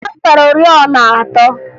Ada zụtara oriọna atọ